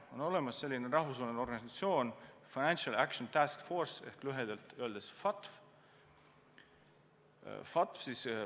On olemas selline rahvusvaheline organisatsioon nagu Financial Action Task Force ehk lühidalt FATF.